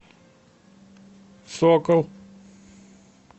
сокол